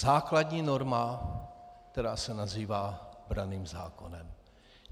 Základní norma, která se nazývá branným zákonem.